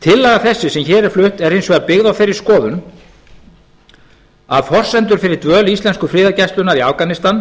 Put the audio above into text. tillaga þessi sem hér er flutt er hins vegar byggð á þeirri skoðun að forsendur fyrir dvöl íslensku friðargæslunnar í afganistan